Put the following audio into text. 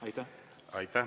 Aitäh!